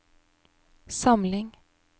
samling